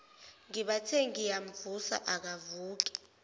ngibathe ngiyamvusa akavuki